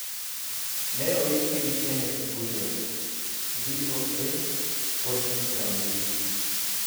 Ne oike gi Kennes Bwire, VOA, Washington DC.